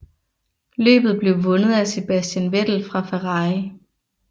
Løbet blev vundet af Sebastian Vettel fra Ferrari